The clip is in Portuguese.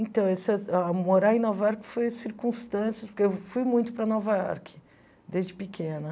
Então se ah, morar em Nova York foi circunstância... Porque eu fui muito para Nova York, desde pequena.